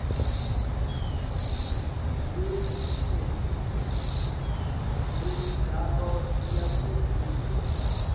leminye imicimbi yemidlalo yasebusuku